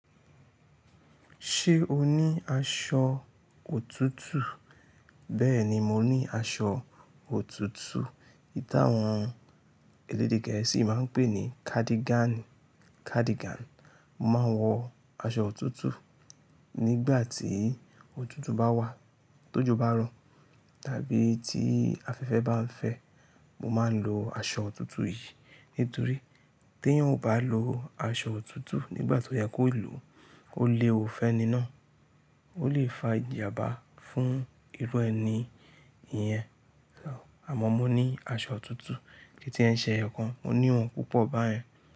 Ṣé o ní aṣọ òtútù? Bẹ́ẹ̀ni, mo ní aṣọ òtútù. Táwọn elédè Gẹ̀ẹ́sì máa ń pè ní kádígáànì, cardigan. Mo máa ń wọ aṣọ òtútù nígbà tí òtútù bá wà, tójò bá rọ̀, tàbí tí afẹ́fẹ́ bá ń fẹ́. Mo máa ń lo aṣọ òtútù yìí nítorí téèyàn ò bá lo aṣọ òtútù nígbà tó yẹ kó lòó, ó léwu fẹ́ni náà, ó lè fa ìjàbá fún irú ẹni ìyẹn. Àmọ́ mo ní aṣọ òtútù, kìí tiẹ̀ ń ṣe ẹyọkan, mo ní òun púpọ̀ báyẹn.